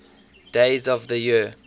days of the year